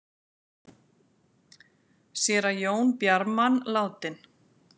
Séra Jón Bjarman látinn